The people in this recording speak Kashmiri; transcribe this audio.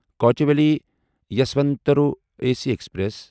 Kochuveli Yesvantpur A C express